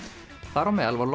þar á meðal var